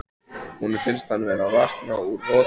Honum finnst hann vera að vakna úr roti.